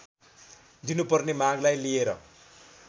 दिनुपर्ने मागलाई लिएर